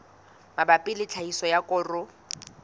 mabapi le tlhahiso ya koro